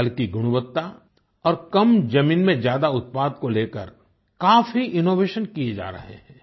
फल की गुणवत्ता और कम ज़मीन में ज्यादा उत्पाद को लेकर काफी इनोवेशन किये जा रहे हैं